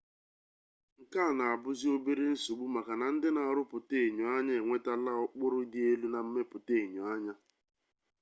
nke a na-abuzi obere nsogbu maka na ndị na-arụpụta enyoanya enwetala ụkpụrụ dị elu na mmepụta enyoanya